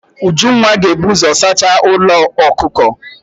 Ujunwa ga-ebu ụzọ saacha ụlọ ọkụkọ.